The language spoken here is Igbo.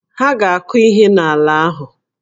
Ha a ga-akụ ihe n'ala ahụ.